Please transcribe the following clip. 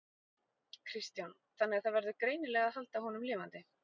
Kristján: Þannig að það verður greinilega að halda honum lifandi?